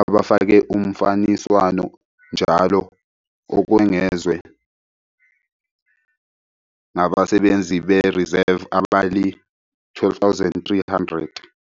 abafake umfaniswano njalo, okwengezwe ngabasebenzi be-reserve abali-12 300.